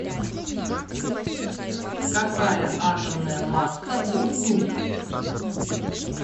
какая атомная масса у ртуть